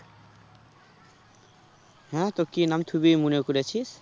হ্যাঁ তো কি নাম থুবি মনে করেছিস?